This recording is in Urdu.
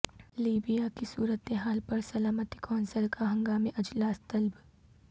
لیبیا کی صورتحال پر سلامتی کونسل کا ہنگامی اجلاس طلب